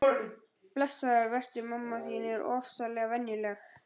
Blessaður vertu, mamma þín er ofsalega venjuleg.